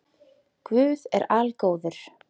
Guð er algóður